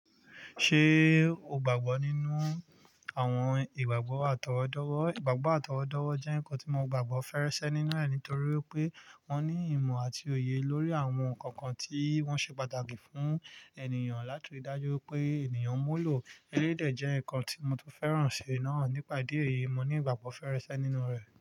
Ṣé o gbàgbọ́ nínú àwọn ìgbàgbọ́ àtọwọ́dọ́wọ́? Ìgbàgbọ́ àtọwọ́dọ́wọ́ jẹ́ nkan tí mo gbàgbọ́ fèrèsé nínú rẹ̀ nítorí pé wọ́n ní ìmọ̀ àti òye lórí àwọn nkan kan tí wọ́n ṣe pàtàkì fún ènìyàn. Láti rí dájú wípé ènìyàn mulo eléyìí dé jẹ́ nkan tí mo tún fẹ́ràn ṣì náà. Nípa ìdí èyí, mo ní ìgbàgbọ́ fèrèsé nínú rẹ̀.